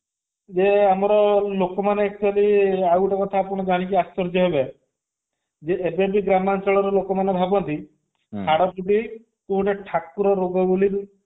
ଯେ ଆମର ଲୋକମାନେ actually ଆଉ ଗୋଟେ କଥା ଆପଣ ଜାଣିକି ବି ଆଶ୍ଚର୍ଯ୍ୟ ହେବେ ଯେ ଏବେବି ଗ୍ରାମାଞ୍ଚଳର ଲୋକମାନେ ଭାବନ୍ତି ହାଡଫୁଟି କି ଗୋଟେ ଠାକୁର ରୋଗ ବୋଲି